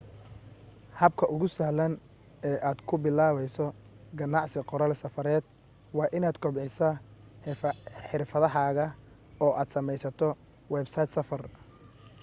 habka ugu sahlan ee aad ku bilaabayso ganacsi qoraal safareed waa inaad kobcisaa xirfadahaaga oo aad samaysato websayd safar